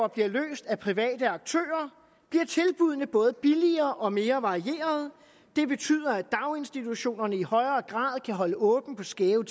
bliver løst af private aktører bliver tilbuddene både billigere og mere varieret det betyder at daginstitutionerne i højere grad kan holde åbent på skæve